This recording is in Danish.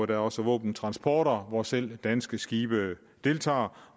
der er også våbentransporter hvor selv danske skibe deltager